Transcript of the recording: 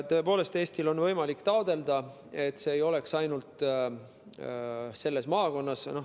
Tõepoolest, Eestil on võimalik taotleda, et see ei toimiks ainult selles maakonnas.